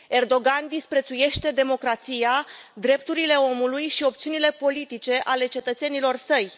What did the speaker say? Erdogan disprețuiește democrația, drepturile omului și opțiunile politice ale cetățenilor săi.